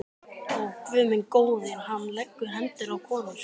Ó, Guð minn góður, hann leggur hendur á konur.